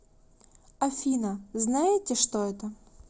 афина знаете что это